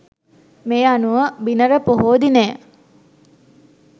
මේ අනුව බිනර පොහෝ දිනය